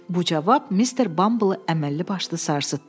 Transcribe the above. Bu cavab Mister Bamble əməlli başlı sarsıtdı.